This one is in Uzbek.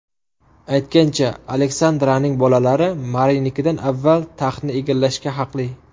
Aytgancha, Aleksandraning bolalari Marinikidan avval taxtni egallashga haqli.